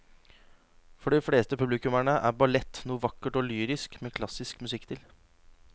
For de fleste publikummere er ballett noe vakkert og lyrisk med klassisk musikk til.